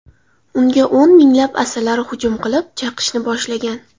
Unga o‘n minglab asalari hujum qilib, chaqishni boshlagan.